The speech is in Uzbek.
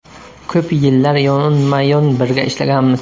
Ko‘p yillar yonma-yon birga ishlaganmiz.